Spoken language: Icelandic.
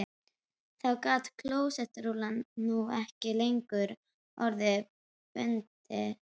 Þá gat klósettrúllan nú ekki lengur orða bundist